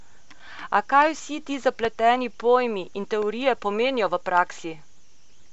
A kaj vsi ti zapleteni pojmi in teorije pomenijo v praksi?